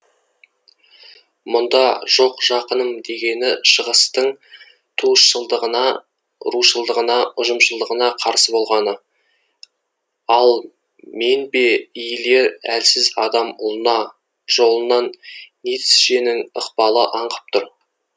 мұнда жоқ жақыным дегені шығыстың туысшылдығына рушылдығына ұжымшылдығына қарсы болғаны ал мен бе иілер әлсіз адам ұлына жолынан ницшенің ықпалы аңқып тұр